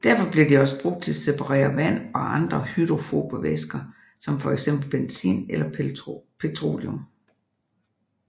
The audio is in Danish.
Derfor bliver de også brugt til separere vand og andre hydrofobe væsker som fxbenzin eller petroleum